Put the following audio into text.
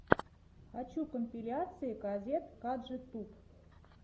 хочу компиляции казет каджи туб